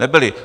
Nebyli.